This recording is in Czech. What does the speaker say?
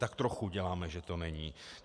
Tak trochu děláme, že to není.